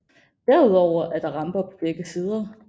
Derudover er der ramper på begge sider